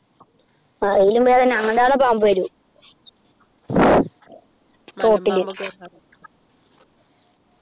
അയിലും ഭേദം ഞമ്മൻ്റെ ആട പാമ്പ് വരും തോട്ടില്